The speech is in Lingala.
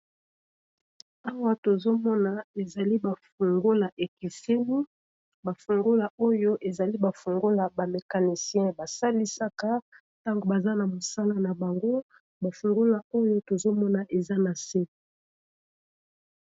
Awa tozomona ezali ba fungola ekiseni, ba fungola oyo ezali ba fungola ba mecanisien basalisaka ntango baza na mosala na bango, bafungola oyo tozomona eza na se.